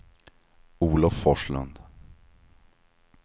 Olof Forslund